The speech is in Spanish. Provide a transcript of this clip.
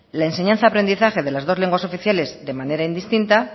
la enseñanza y aprendizaje de las dos lenguas oficiales de manera indistintas